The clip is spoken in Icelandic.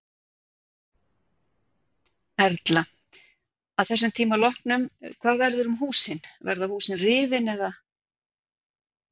Erla: Að þessum tíma loknum hvað verður um húsin, verða húsin rifin eða?